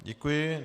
Děkuji.